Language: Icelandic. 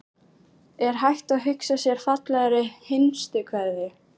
Er hægt að hugsa sér fallegri hinstu kveðju?